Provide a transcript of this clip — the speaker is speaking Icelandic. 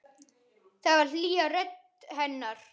Það var hlýja í rödd hennar.